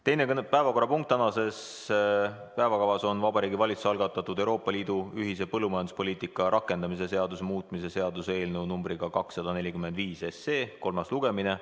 Teine päevakorrapunkt tänases päevakavas on Vabariigi Valitsuse algatatud Euroopa Liidu ühise põllumajanduspoliitika rakendamise seaduse muutmise seaduse eelnõu 245 kolmas lugemine.